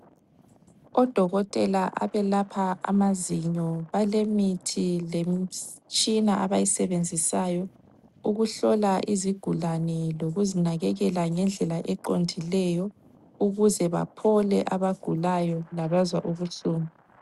Odokotela abelapha amazinyo balemithi lemitshina abayisebenzisayo ukuhlola izigulane lokuzinakekela ngendlela eqondileyo ukuze baphole abagulayo labazwa ubuhlungu.